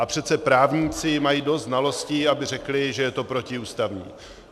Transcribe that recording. A přece právníci mají dost znalostí, aby řekli, že je to protiústavní.